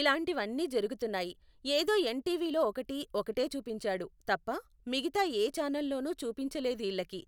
ఇలాంటివి అన్ని జరుగుతున్నాయి, ఏదో ఎన్ టీవిలో ఒకటి ఒకటే చూపించాడు తప్ప మిగతా ఏ ఛానల్ లోను చూపించలేదు ఈళ్ళకి